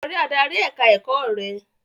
Lọ rí adarí ẹ̀ka-ẹ̀kọ́ rẹ!